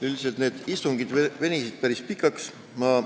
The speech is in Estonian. Üldiselt venisid need istungid päris pikaks.